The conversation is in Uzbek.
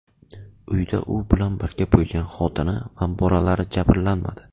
Uyda u bilan birga bo‘lgan xotini va bolalari jabrlanmadi.